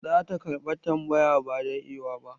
Za ta karɓa tambaya ba da ewa ba.